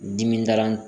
Dimidala